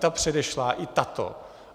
Ta předešlá i tato.